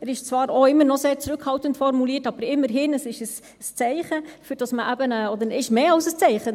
Er ist zwar auch immer noch sehr zurückhaltend formuliert, aber immerhin ist es ein Zeichen – oder es ist mehr als ein Zeichen.